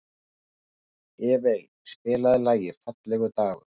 Evey, spilaðu lagið „Fallegur dagur“.